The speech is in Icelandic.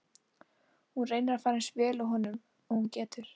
Hún reynir að fara eins vel að honum og hún getur.